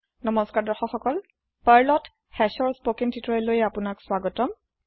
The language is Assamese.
Perlত Hashৰ স্পৌকেন তিওতৰিয়েললৈ আপোনালোকক স্বাগতম